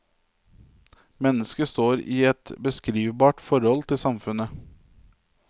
Mennesket står i et beskrivbart forhold til samfunnet.